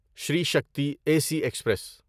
Shri Shakti A C express